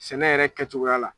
Sɛnɛ yɛrɛ kɛcogoya la.